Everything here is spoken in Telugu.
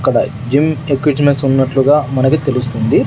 ఇక్కడ జిమ్ ఏక్విట్మెంట్స్ ఉన్నట్లుగా మనకి తెలుస్తుంది.